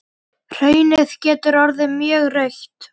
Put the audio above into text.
Hraunið getur orðið mjög rautt.